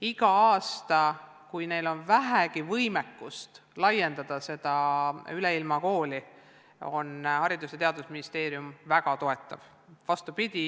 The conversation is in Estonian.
Igal aastal, kui neil on vähegi võimekust laiendada seda Üleilmakooli, on Haridus- ja Teadusministeerium olnud väga toetav.